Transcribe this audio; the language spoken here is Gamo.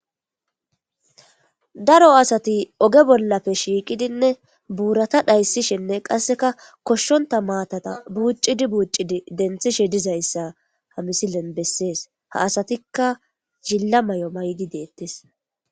daro asati oge bollappe shiiqidinne buurata dhayssishenne qasseka koshshonta maatata buuccidi buuccidi denthishe dizayssa hamisilen bessees ha asatikka jilla may7o maydi deettes.